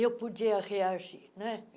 Eu podia reagir né.